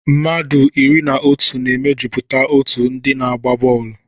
Mmadụ iri na otu na-emejupụta otú òtù ndị na-agba bọọlụ.